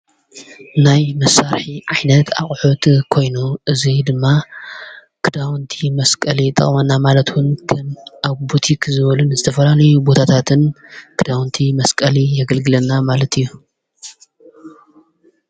ናይ መሣርሒ ዓይነት ኣቝሑት ኮይኑ እዙይ ድማ ክዳውንቲ መስቀሊ ይጠቅመና ማለቱን ኣቦቲኽ ዝበልን ዝተፈራን ቦታታትን ክዳውንቲ መስቀሊ የግልግለና ማለት እዩ፡፡